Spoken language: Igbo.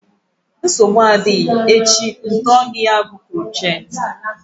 Nsogbu adịghị echi ma atọọ gị ya bụ krochet